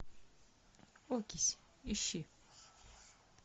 окись ищи